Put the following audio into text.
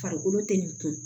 Farikolo tɛ nin kun